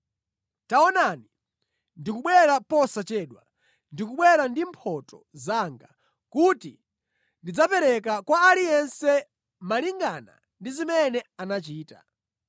“Taonani, ndikubwera posachedwa! Ndikubwera ndi mphotho zanga kuti ndidzapereke kwa aliyense malinga ndi zimene anachita.